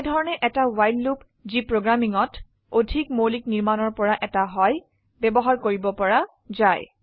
এনেধৰনে এটা ৱ্হাইল লুপযি প্ৰোগ্ৰামিংতঅধিক মৌলিক নিৰ্মানৰ পৰা এটা হয় ব্যবহাৰ কৰিব পৰা যায়